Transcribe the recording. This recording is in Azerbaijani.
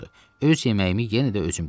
Öz yeməyimi yenə də özüm bişirəcəm.